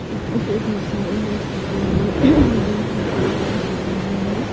यहाँ पे बहुत सारे लोग झुके हुए जिम करते हुए नज़र आ रहे हैं।